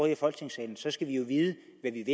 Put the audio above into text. i folketingssalen så skal vi jo